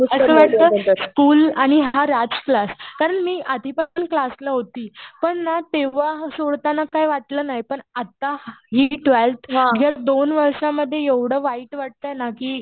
असं वाटतं स्कुल आणि हा राज क्लास कारण मी आधीपासून क्लासला होती. पण ना तेव्हा सोडताना काही वाटलं नाही. पण आता हि ट्वेल्थ ह्या दोन वर्षांमध्ये एवढं वाईट वाटतंय ना कि